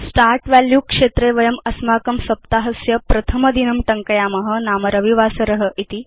start value क्षेत्रे वयम् अस्माकं सप्ताहस्य प्रथम दिनं टङ्कयाम नाम रविवासर इति